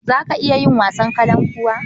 Za ka iya yin wasan kalankuwa?